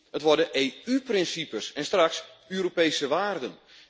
Het worden EU principes en straks Europese waarden.